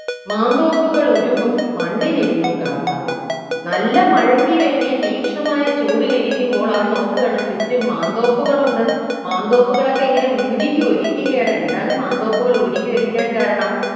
മാന്തോപ്പുകളുരുകും മണ്ണിലിരുന്നു കാട്ടാളൻ നല്ല മഴയ്ക്ക് വേണ്ടി തീക്ഷ്ണമായ ചൂടിലിരിക്കുമ്പോൾ അവൻ നോക്കുകയാണ് ചുറ്റും മാന്തോപ്പുകളുണ്ട് മാന്തോപ്പുകളൊക്കെ ഇങ്ങനെ ഉരുകി ഒലിക്കുകയാണ് എന്താണ് മാന്തോപ്പുകൾ ഉരുകി ഒലിക്കാൻ കാരണം